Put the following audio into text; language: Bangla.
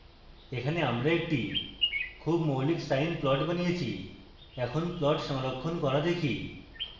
এখানে আপনি একটি খুব মৌলিক sine plot বানিয়েছি এখন plot সংরক্ষণ করা দেখি